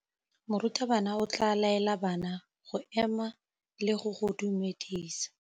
Morutabana o tla laela bana go ema le go go dumedisa.